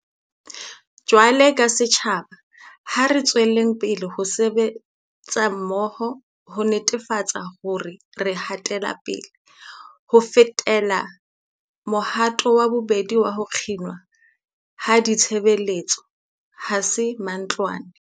Jwaloka setjhaba, ha re tswelleng ho sebetsa mmoho ho netefatsa hore re hatela pele. Ho fetela mohatong wa bobedi wa ho kginwa ha ditshebeletso 'ha se mantlwane.'